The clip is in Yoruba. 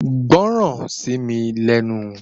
Gbọ́ràn sí mi lẹ́nu